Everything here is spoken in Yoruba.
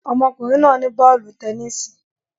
Ọmọkùnrin náà ní bọ́ọ̀lù tẹnisi